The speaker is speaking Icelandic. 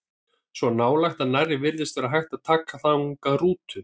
Svo nálægt að nærri virtist vera hægt að taka þangað rútu.